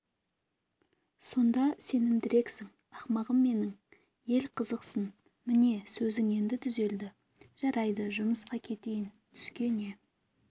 сонда сенімдірексің ақымағым менің ел қызықсын міне сөзің енді түзелді жарайды жұмысқа кетейін түске не